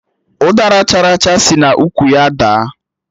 Ụdara chara acha si n'ukwu ya daa